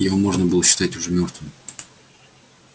его можно было считать уже мёртвым